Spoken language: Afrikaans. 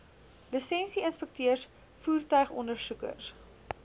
lisensie inspekteurs voertuigondersoekers